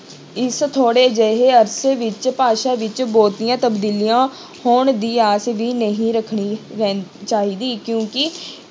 ਇਸ ਥੋੜ੍ਹੇ ਜਿਹੇ ਅਰਸੇ ਵਿੱਚ ਭਾਸ਼ਾ ਵਿੱਚ ਬਹੁਤੀਆਂ ਤਬਦੀਲੀਆਂ ਹੋਣ ਦੀ ਆਸ ਵੀ ਨਹੀਂ ਰੱਖਣੀ ਰਹਿੰ~ ਚਾਹੀਦੀ ਕਿਉਂਕਿ